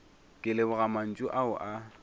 ke leboga mantšu ao a